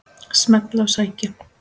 Smella og sækja.